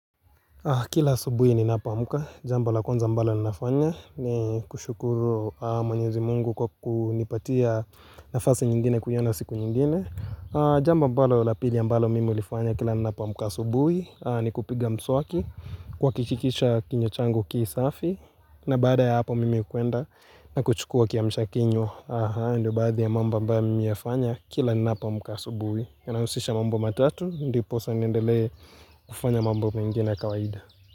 Kila asubuhi ninapo amka, jambo la kwanza ambalo ninafanya, ni kushukuru mwenyezi mungu kwa kunipatia nafasi nyingine kuiona siku nyingine Jamba ambalo la pili ambalo mimi ulifanya kila ninapa amka asubuhi, ni kupiga mswaki, kuhakikisha kinywa changu kii safi na baada ya hapo mimi hukwenda na kuchukua kiamsha kinywa, haya ndio baadhi ya mambo ambayo mimi hufanya, kila ninapo amka asubuhi yanausisha mambo matatu ndiposa niendele kufanya mambo mengine ya kawaida.